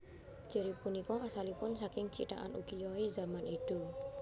Ciri punika asalipun saking cithakan ukiyo e zaman Edo